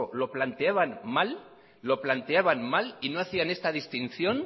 lo planteaban mal y no hacían esta distinción